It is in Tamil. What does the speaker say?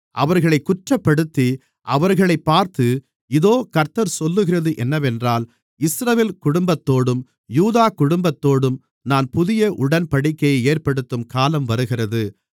அவர்களைக் குற்றப்படுத்தி அவர்களைப் பார்த்து இதோ கர்த்தர் சொல்லுகிறது என்னவென்றால் இஸ்ரவேல் குடும்பத்தோடும் யூதா குடும்பத்தோடும் நான் புதிய உடன்படிக்கையை ஏற்படுத்தும் காலம் வருகிறது